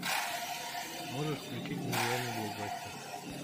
можешь включить нереальный блокбастер